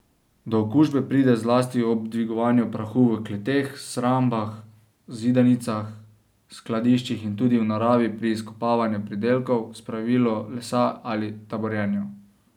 Do okužbe pride zlasti ob dvigovanju prahu v kleteh, shrambah, zidanicah, skladiščih in tudi v naravi pri izkopavanju pridelkov, spravilu lesa ali taborjenju.